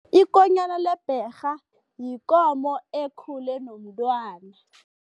Ikonyana lebherha yikomo ekhule nomntwana.